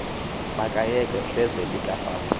makayekwe hleze likafaku